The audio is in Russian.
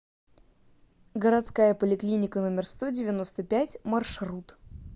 городская поликлиника номер сто девяносто пять маршрут